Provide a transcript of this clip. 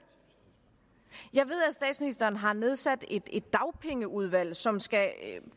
statsministeren har nedsat et dagpengeudvalg som skal